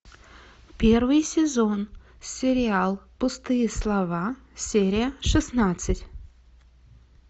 первый сезон сериал пустые слова серия шестнадцать